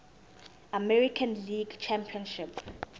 american league championship